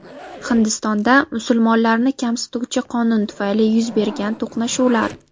Hindistonda musulmonlarni kamsituvchi qonun tufayli yuz bergan to‘qnashuvlar.